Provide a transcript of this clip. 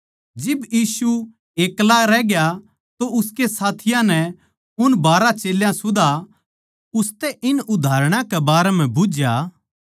जिब यीशु एक्ला रहग्या तो उसके साथियाँ नै उन बारहां चेल्यां सुदा उसतै इन उदाहरणां कै बारै म्ह बुझ्झया